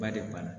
Ba de b'a la